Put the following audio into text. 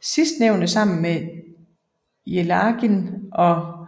Sidstnævnte sammen med Jelagin og